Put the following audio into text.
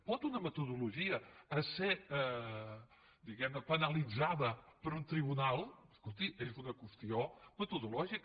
pot una metodologia ésser diguem ne penalitzada per un tribunal escolti és una qüestió metodològica